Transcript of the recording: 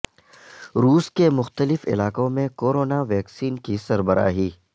روس کے مختلف علاقوں میں کورونا ویکسین کی سربراہی